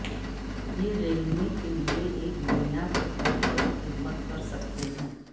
یہ رنگنے کے لئے ایک بنیاد کے طور پر خدمت کر سکتے ہیں